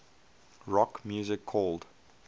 rock music called